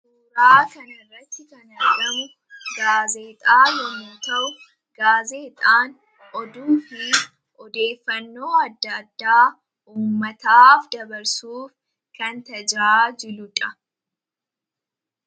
oraa kan irratti kanada'u gaazeexaa loomata'u gaazeexaan oduu fi odeeffannoo adda addaa uumataaf dabarsuuf kan tajaa jiluudha